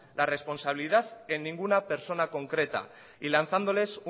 la responsabilidad en ninguna persona concreta y lanzándoles